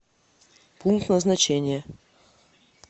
пункт назначения